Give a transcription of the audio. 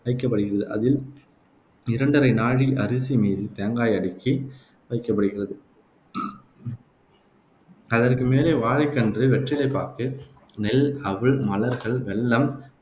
வைக்கப்படுகிறது. அதில் இரண்டரை நாழி அரிசி மீது தேங்காய் அடுக்கி வைக்கப்படுகிறது. அதற்கு மேலே வாழைக்கன்று, வெற்றிலைப்பாக்கு, நெல், அவல், மலர்கள், வெல்லம்,